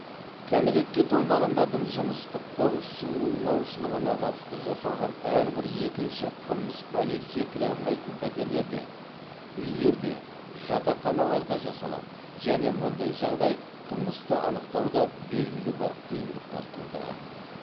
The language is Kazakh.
кәмелетке толмағандардың жыныстық қол сұғылмаушылығына қатысты жасалған әрбір екінші қылмыс полиция кіре алмайтын пәтерлерде үйлерде жатақханаларда жасалады және мұндай жағдай қылмысты анықтауда белгілі бір қиындықтар тудырады